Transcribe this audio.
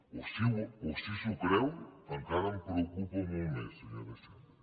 o si s’ho creu encara em preocupa molt més senyora xandri